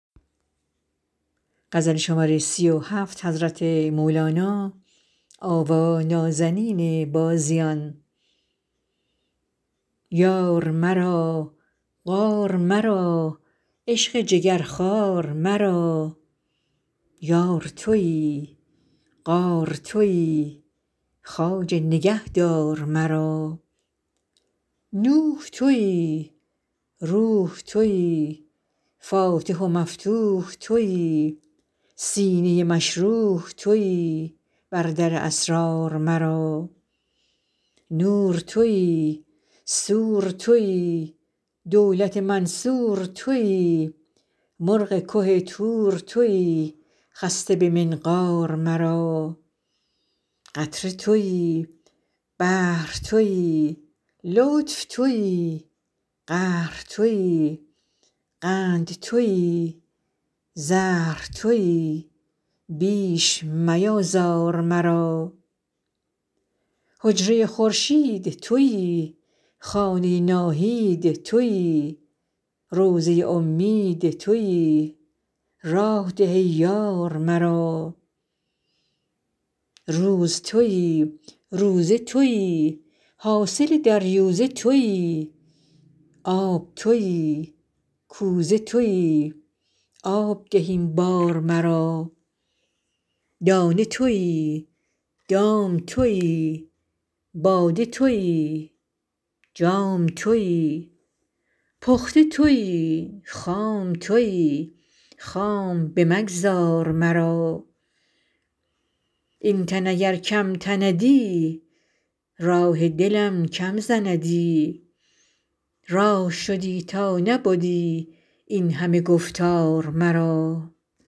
یار مرا غار مرا عشق جگرخوار مرا یار تویی غار تویی خواجه نگهدار مرا نوح تویی روح تویی فاتح و مفتوح تویی سینه مشروح تویی بر در اسرار مرا نور تویی سور تویی دولت منصور تویی مرغ که طور تویی خسته به منقار مرا قطره تویی بحر تویی لطف تویی قهر تویی قند تویی زهر تویی بیش میآزار مرا حجره خورشید تویی خانه ناهید تویی روضه امید تویی راه ده ای یار مرا روز تویی روزه تویی حاصل دریوزه تویی آب تویی کوزه تویی آب ده این بار مرا دانه تویی دام تویی باده تویی جام تویی پخته تویی خام تویی خام بمگذار مرا این تن اگر کم تندی راه دلم کم زندی راه شدی تا نبدی این همه گفتار مرا